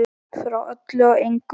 Frá öllu og engu.